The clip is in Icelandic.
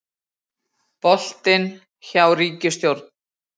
Boltinn hjá ríkisstjórn